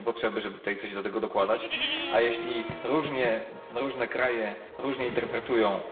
Nie ma żadnej potrzeby, żeby coś do tego dokładać, a jeśli różne kraje różnie interpretują